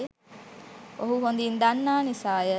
ඔහු හොඳින් දන්නා නිසාය.